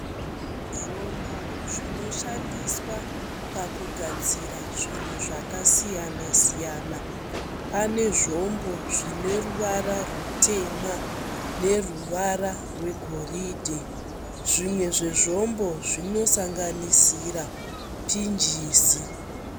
Zvombo zvinoshandiswa pakugadzira zvinhu zvakasiyana siyana pane zvombo zvine ruvara rutema neruvara rwegoridhe zvimwe zvezvombo zvinosanganisira pinjisi.